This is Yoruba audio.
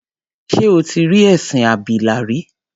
Ṣé o tí rí ẹṣin abìlà rí?